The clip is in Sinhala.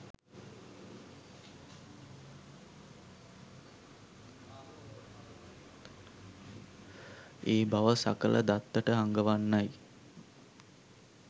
ඒ බව සකලදත්තට අඟවන්නයි